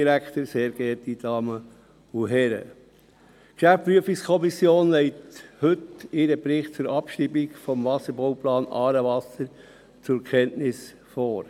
Die GPK legt heute ihren Bericht zur Abschreibung des Wasserbauplans «Aarewasser» zur Kenntnis vor.